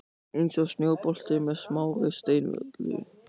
Örn var allur á nálum við kvöldmatarborðið.